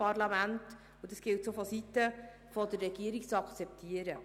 Das ist auch das Recht des Parlaments, und die Regierung muss das akzeptieren.